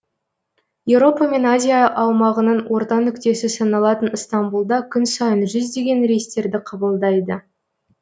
еуропа мен азия аумағының орта нүктесі саналатын ыстамбұлда күн сайын жүздеген рейстерді қабылдайды